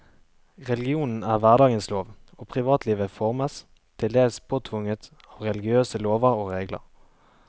Religionen er hverdagens lov, og privatlivet formes, til dels påtvunget, av religiøse lover og regler.